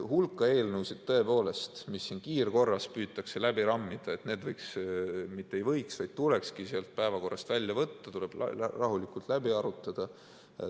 Hulk eelnõusid, tõepoolest, mida siin kiirkorras püütakse läbi rammida, võiks, isegi mitte ei võiks, vaid tulekski päevakorrast välja võtta, need tuleks rahulikult läbi arutada.